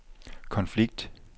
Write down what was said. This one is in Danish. konflikt